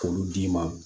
K'olu d'i ma